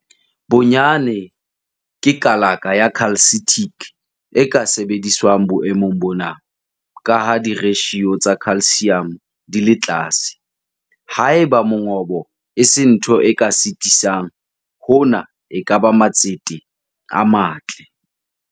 Bonyane ke kalaka ya calcitic e ka sebediswang boemong bona, ka ha di-ratio tsa calcium di le tlase. Haeba mongobo e se ntho e ka sitisang, hona e ka ba matsete a matle.